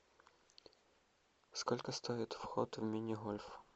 сколько стоит вход в мини гольф